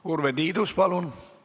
Urve Tiidus, palun!